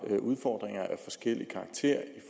har udfordringer